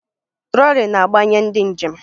Trọlị na-agbanye ndị njem